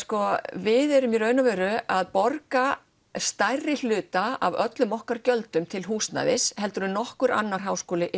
við erum í raun og veru að borga stærri hluta af öllum okkar gjöldum til húsnæðis heldur en nokkur annar háskóli í